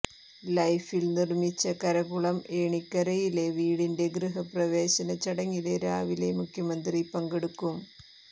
ലൈഫിൽ നിര്മ്മിച്ച കരകുളം ഏണിക്കരയിലെ വീടിന്റെ ഗൃഹപ്രവേശ ചടങ്ങില് രാവിലെ മുഖ്യമന്ത്രി പങ്കെടുക്കും